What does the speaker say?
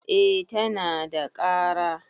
eh tana da kara